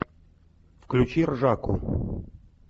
включи ржаку